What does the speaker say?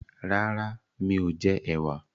Rárá mi ò jẹ ẹ̀wà